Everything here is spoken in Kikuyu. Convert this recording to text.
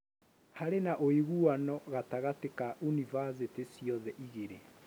Harĩ na ũiguano gatagatĩ ka univathĩtĩ ciothe ĩgĩrĩ